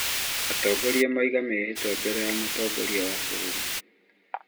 Atongoria moiga mĩhĩtwa mbere ya mutongoria wa bũrũri